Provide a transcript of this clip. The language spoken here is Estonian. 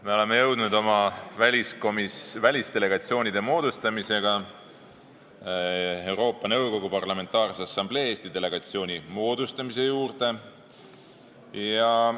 Me oleme jõudnud oma välisdelegatsioonide moodustamisega Euroopa Nõukogu Parlamentaarse Assamblee Eesti delegatsiooni moodustamise juurde.